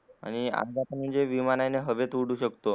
आणि अपघाताने म्हणजे हवेत उडू शकतो